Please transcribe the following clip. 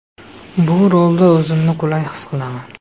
Bu rolda o‘zimni qulay his qilaman.